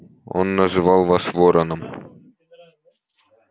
он называл вас вороном